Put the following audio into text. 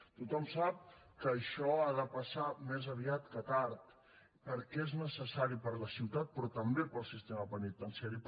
tothom sap que això ha de passar més aviat que tard perquè és necessari per a la ciutat però també per al sistema penitenciari